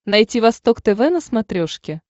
найти восток тв на смотрешке